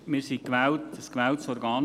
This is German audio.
Wir sind ein von Ihnen gewähltes Organ.